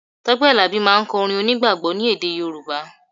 Tọ́pẹ́ Àlàbí máà ń kọ orin onígbàgbọ́ ni èdè Yorùbá